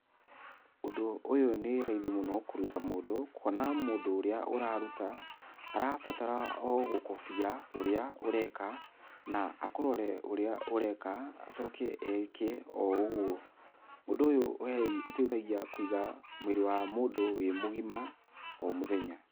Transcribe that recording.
Ũndũ ũyũ nĩ raithii mũno kũrũta mũndũ, kuona mũndũ ũrĩa ũrarũta, arabatara o gũkobia ũrĩa ũreka, na akũrore ũrĩa ũreka acoke eke o ũgũo. Ũndũ ũyũ ũteithagia kũiga mwĩrĩ wa mũndũ wĩ mũgima o mũthenya.